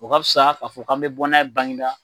O ka fisa k'a fɔ k'an bɛ bɔ n'a ye baginda.